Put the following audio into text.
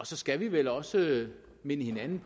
så skal vi vel også minde hinanden